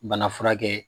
Bana furakɛ